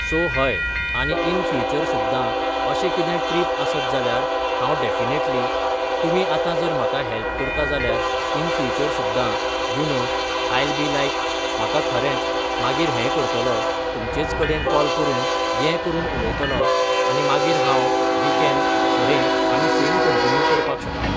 So हय आनी in future सुद्दा अशें कितें ट्रिप आसत जाल्यार हांव डएफिनेटली तुमी आतां जर म्हाका हेल्प करता जाल्यार इन फ्यूचर सुद्दा you know I'll be like म्हाका खरेंच मागीर हें करतलो तुमचेंच कडेन कॉल करून ये करून उयतलो आनी मागीर हांव वी केन फुडें आमी सेम कंटीन्यू करपाक शकता.